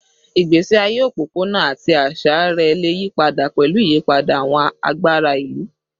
Igbesi aye opopona ati aṣa rẹ le yipada pẹlu iyipada awọn agbara ilu